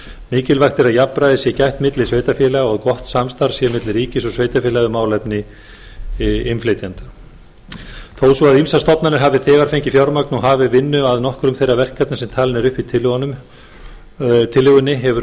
mikilvægt er að jafnræðis sé gætt milli sveitarfélaga og að gott samstarf sé á milli ríkis og sveitarfélaga um málefni innflytjenda þó svo að ýmsar stofnanir hafi þegar fengið fjármagn og hafið vinnu að nokkrum þeirra verkefna sem talin eru upp í tillögunni hefur